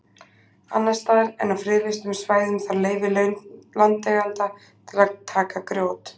Annars staðar en á friðlýstum svæðum þarf leyfi landeigenda til að taka grjót.